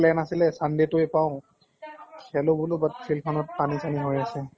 plan আছিলে, sunday টোয়ে পাওঁ। খেলো বুলু but field খনত পানী চানী হৈ আছে।